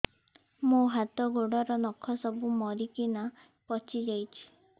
ମୋ ହାତ ଗୋଡର ନଖ ସବୁ ମରିକିନା ପଚି ଯାଉଛି